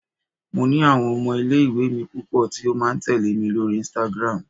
mo ni awon ọmọ ile iwe mi pupo ti o ma tẹle mi lori Instagram